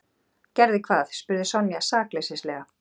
Gerði hvað? spurði Sonja sakleysislega.